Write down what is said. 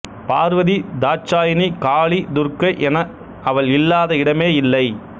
பார்வதி தாட்சாயினி காளி துர்கை என அவள் இல்லாத இடமே இல்லை